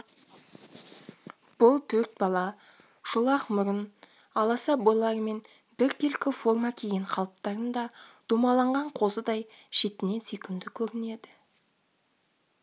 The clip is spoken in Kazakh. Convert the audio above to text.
бұл төрт бала шолақ мұрын аласа бойларымен біркелкі форма киген қалыптарында домаланған қозыдай шетінен сүйкімді көрінеді